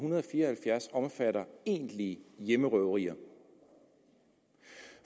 hundrede og fire og halvfjerds omfatter egentlige hjemmerøverier